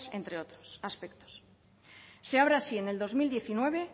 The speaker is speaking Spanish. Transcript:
entre otros aspectos se abre así en el dos mil diecinueve